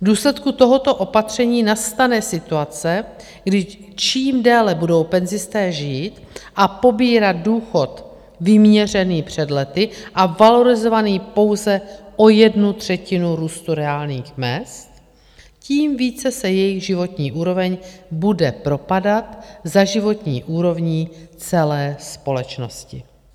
V důsledku tohoto opatření nastane situace, kdy čím déle budou penzisté žít a pobírat důchod vyměřený před lety a valorizovaný pouze o jednu třetinu růstu reálných mezd, tím více se jejich životní úroveň bude propadat za životní úrovní celé společnosti.